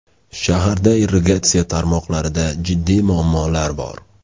Shaharda irrigatsiya tarmoqlarida jiddiy muammolar bor.